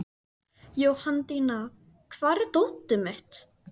Jóhanndína, hvar er dótið mitt?